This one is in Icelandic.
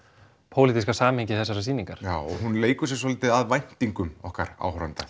pólitíska samhengi þessarar sýningar já og hún leikur sér svolítið að væntingum okkar áhorfenda